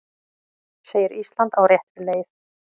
Segir Ísland á réttri leið